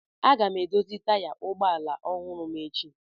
Aga m edozi taya ụgbọ ala ọhụrụ ma echi.